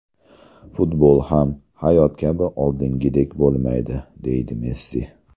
Futbol ham, hayot kabi oldingidek bo‘lmaydi”, deydi Messi.